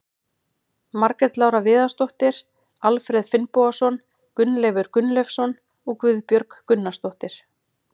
Margrét Lára Viðarsdóttir, Alfreð Finnbogason, Gunnleifur Gunnleifsson og Guðbjörg Gunnarsdóttir.